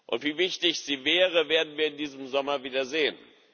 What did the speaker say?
Und wie wichtig sie wäre, werden wir in diesem Sommer wieder sehen.